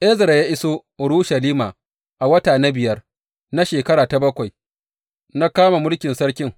Ezra ya iso Urushalima a wata na biyar na shekara ta bakwai na kama mulkin sarkin.